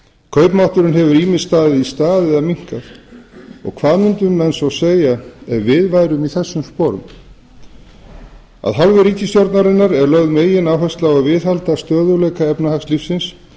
kaupmátturinn hefur ýmist staðið í stað eða minnkað hvað myndu menn segja ef við værum í þessum sporum af hálfu ríkisstjórnarinnar er lögð megináhersla á að viðhalda stöðugleika efnahagslífsins